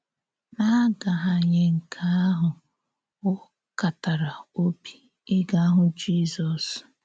N’àgàhànyè nke àhụ, ọ kàtàrà òbì ígá hụ̀ Jízọ́s.